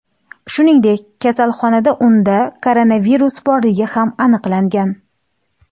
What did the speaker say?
Shuningdek, kasalxonada unda koronavirus borligi ham aniqlangan.